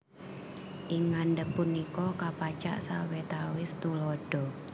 Ing ngandhap punika kapacak sawetawis tuladha